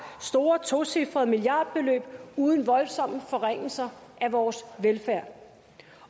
store tocifrede milliardbeløb uden voldsomme forringelser af vores velfærd